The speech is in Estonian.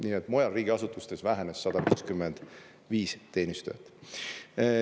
Nii et mujal riigiasutustes vähenes 155 teenistujat.